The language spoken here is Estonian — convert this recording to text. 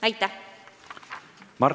Aitäh!